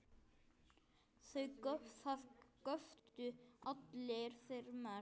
Það göptu allir, þeir mest.